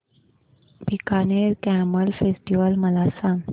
Bikaner camel festival मला सांग